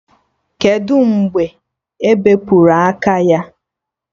Kedụ mgbe ebepụrụ aka ya?